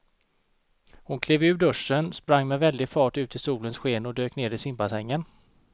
Hon klev ur duschen, sprang med väldig fart ut i solens sken och dök ner i simbassängen.